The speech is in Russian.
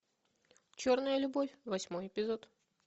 черная любовь восьмой эпизод